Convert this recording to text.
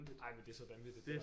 Ej men det er så vanvittigt